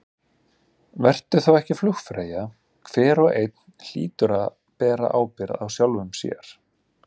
Vertu þá ekki flugfreyja, hver og einn hlýtur að bera ábyrgð á sjálfum sér.